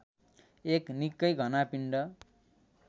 एक निक्कै घना पिण्ड